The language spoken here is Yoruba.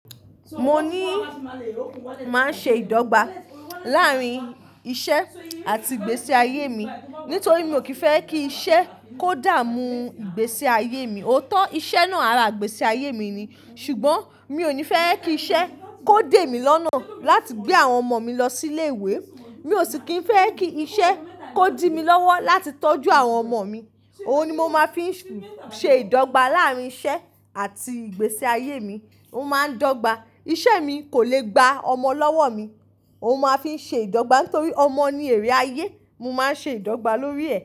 Mo ní máa ń ṣe ìdọ́gba láàrín iṣẹ́ àti ìgbésí ayé mi nítorí mi ò kí fẹ́ kí iṣẹ́ kó dààmú ìgbésí ayé mi. Oóótọ́ iṣẹ́ náà ara ìgbésí ayé mi ni ṣùgbọ́n mi ò ní fẹ́ kí iṣẹ́ kó dé mi lọ́nà láti gbé àwọn ọmọ mi lọ sí ilé ìwé. Mi ò sì kí ń fẹ́ kí iṣẹ́ kó dí mi lọ́wọ́ láti tọ́jú àwọn ọmọ mi. Òhun ni mo máa fi ń ṣe ìdọ́gba láàrín iṣẹ́ àti ìgbésí ayé mi. Ó máa ń dọ́gba. Iṣẹ́ mi kò lè gba ọmọ lọ́wọ́ mi. Ó máa fi ń ṣe ìdọ́gba nítorí ọmọ ni èrè ayé. Mo máa ń ṣe ìdọ́gba lórí ẹ̀